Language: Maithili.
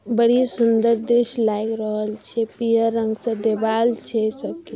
बड़ी सुन्दर दृश्य लगी रहल छै पियर रंग से दीवार छे सबकी।